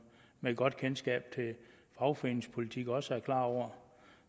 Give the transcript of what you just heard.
med et godt kendskab til fagforeningspolitik også er klar over